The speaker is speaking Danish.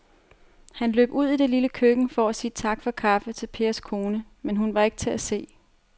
Han løb ud i det lille køkken for at sige tak for kaffe til Pers kone, men hun var ikke til at se.